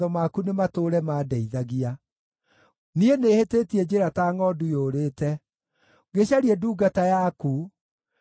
Niĩ nĩhĩtĩtie njĩra ta ngʼondu yũrĩte. Gĩcarie ndungata yaku, nĩgũkorwo ndiriganĩirwo nĩ maathani maku.